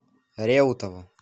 реутову